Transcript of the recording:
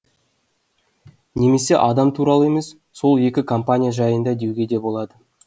немесе адам туралы емес сол екі компания жайында деуге де болады